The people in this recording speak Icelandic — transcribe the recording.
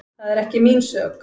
Það er ekki mín sök.